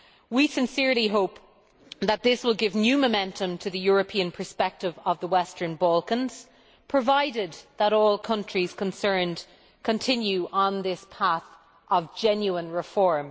We sincerely hope that this will give new momentum to the European perspective of the Western Balkans, provided that all countries concerned continue on this path of genuine reform.